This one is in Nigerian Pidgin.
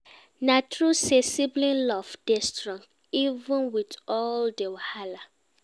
Na true sey sibling love dey strong, even wit all di wahala.